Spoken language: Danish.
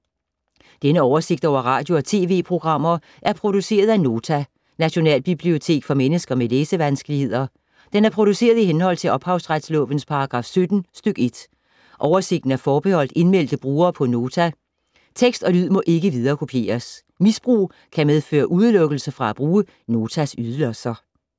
Denne oversigt over radio og TV-programmer er produceret af Nota, Nationalbibliotek for mennesker med læsevanskeligheder. Den er produceret i henhold til ophavsretslovens paragraf 17 stk. 1. Oversigten er forbeholdt indmeldte brugere på Nota. Tekst og lyd må ikke viderekopieres. Misbrug kan medføre udelukkelse fra at bruge Notas ydelser.